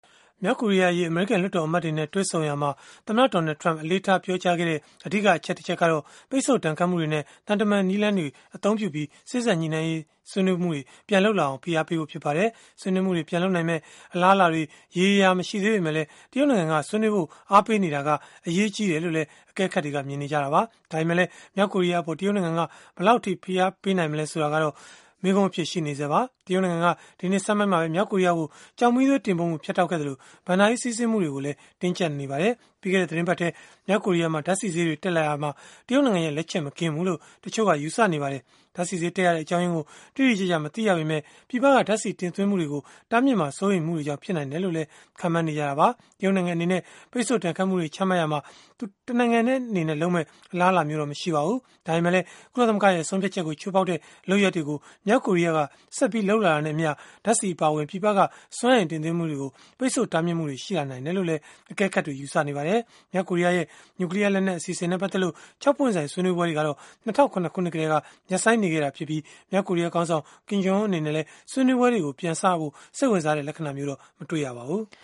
မြောက်ကိုရီးယားအရေး အမေရိကန် လွှတ်တော်အမတ်တွေနဲ့ တွေ့ဆုံရာမှာ သမ္မတ Donald Trump အလေးထား ပြောကြားခဲ့တဲ့ အဓိက အချက်တခုကတော့ ပိတ်ဆို့ဒဏ်ခတ်မှုတွေနဲ့ သံတမန်နည်းလည်းတွေကို အသုံးပြုပြီး စေ့စပ်ညှိနှိုင်းရေး ဆွေးနွေးမှုတွေ ပြန်လုပ်လာအောင် ဖိအားပေးဖို့ ဖြစ်ပါတယ်။ ဆွေးနွေးမှုတွေ ပြန်လုပ်နိုင်မယ့် အလားအလာတွေ ရေရေရာရာ မရှိသေးပေမဲ့ တရုတ်နိုင်ငံကလည်း ဆွေးနွေးဖို့ အားပေးနေတာက အရေးကြီးတယ်လို့လည်း အကဲခတ်တွေက မြင်ကြပါတယ်။ ဒါပေမဲ့လည်း မြောက်ကိုရီးယားအပေါ် တရုတ်နိုင်ငံက ဘယ်လောက်အထိ ဖိအားပေးမလဲ ဆိုတာကတော့ မေးခွန်းအဖြစ် ရှိနေဆဲပါ။ တရုတ်နိုင်ငံက ဒီနှစ်ဆန်းပိုင်းမှာပဲ မြောက်ကိုရီးယားကို ကျောက်မီးသွေးတင်ပို့မှု ဖြတ်တောက်ခဲ့သလို၊ ဘဏ္ဍာရေး စီးဆင်းမှုတွေကိုလည်း တင်းကျပ်လာနေပါတယ်။ ပြီးခဲ့တဲ့သီတင်းပတ်ထဲ မြောက်ကိုရီးယားမှာ ဓာတ်ဆီဈေးတွေ တက်လာရာမှာ၊ တရုတ်နိုင်ငံရဲ့ လက်ချက်မကင်းဘူးလို့လည်း တချို့က ယူဆနေကြပါတယ်။ ဓာတ်ဆီဈေး တက်ရတဲ့ အကြောင်းရင်းကို တိတိကျကျ မသိရပေမဲ့ ပြည်ပက ဓာတ်ဆီတင်သွင်းမှုတွေကို တားမြစ်မှာ စိုးရိမ်မှုတွေကြောင့် ဖြစ်နိုင်တယ်လို့လည်း ခန့်မှန်းနေကြတာပါ။ တရုတ်နိုင်ငံအနေနဲ့ ပိတ်ဆို့ဒဏ်ခတ်မှုတွေ ချမှတ်ရာမှာ တနိုင်ငံတည်း လုပ်မယ့် အလားအလာတော့ မရှိပါဘူး။ ဒါပေမဲ့လည်း ကုလသမဂ္ဂရဲ့ ဆုံးဖြတ်ချက်ကို ချိုးဖောက်တဲ့ လုပ်ရပ်တွေကို မြောက်ကိုရီးယားက ဆက်လုပ် လာတာနဲ့အမျှ ဓာတ်ဆီအပါအဝင် ပြည်ပက စွမ်းအင်တင်သွင်းမှုတွေကို ပိတ်ဆို့တားမြစ်မှုတွေ ရှိလာနိုင်တယ်လို့လည်း အကဲခတ်တွေက ယူဆနေကြပါတယ်။ မြောက်ကိုရီးယားရဲ့ နျူကလီးယားလက်နက် အစီအစဉ်နဲ့ ပတ်သက်လို့ ၆ ပွင့်ဆိုင် ဆွေးနွေးပွဲတွေကတော့ ၂၀၀၇ ခုနှစ်ကတည်းက ရပ်ဆိုင်းနေခဲ့ပြီး မြောက်ကိုရီးယားခေါင်းဆောင် Kim Jong Un အနေနဲ့လည်း ဆွေးနွေးပွဲတွေ ပြန်စဖို့ စိတ်ဝင်စားတဲ့ လက္ခဏာမျိုးတော့ မတွေ့ရပါဘူး။